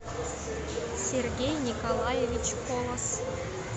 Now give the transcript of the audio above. сергей николаевич полоз